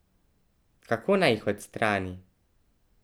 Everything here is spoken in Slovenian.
Kako naj jih odstrani?